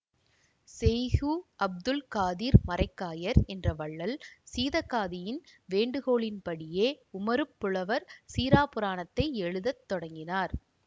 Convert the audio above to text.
செய்கு அப்துல் காதிர் மரைக்காயர் என்ற வள்ளல் சீதக்காதியின் வேண்டுகோளின் படியே உமறுப் புலவர் சீறாப்புராணத்தை எழுதத் தொடங்கினார்